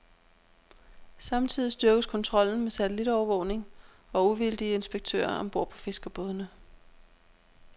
Samtidig styrkes kontrollen med satellitovervågning og uvildige inspektører om bord på fiskerbådene.